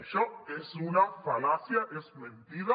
això és una fal·làcia és mentida